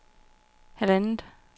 halvandet